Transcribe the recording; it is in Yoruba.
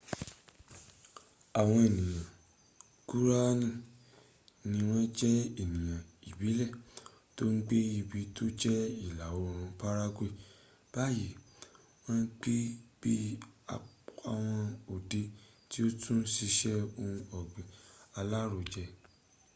àwọn ènìyàn guarani ni wọ́n jẹ́ ènìyàn ìbílẹ̀ tó ń gbé ibi tó jẹ́ ìlà oòrùn paraguay báyìí wọ́n ń gbé bí i apwọn ọdẹ tí ó tún siṣẹ́ ohun ọ̀gbìn alárojẹ